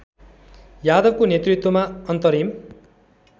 यादवको नेतृत्वमा अन्तरिम